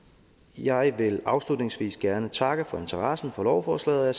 jeg vil afslutningsvis gerne takke for interesse for lovforslaget og